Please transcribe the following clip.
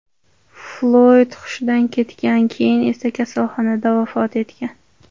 Floyd hushidan ketgan, keyin esa kasalxonada vafot etgan .